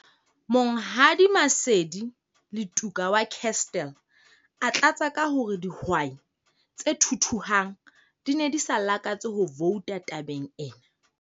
Monghadi Maseli Letuka wa Kestell a tlatsa ka hore dihwai tse thuthuhang di ne di sa lakatse ho vouta tabeng ena.